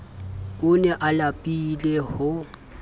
o ne a lapile ho